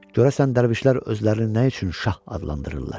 Görəsən dərvişlər özlərini nə üçün şah adlandırırlar?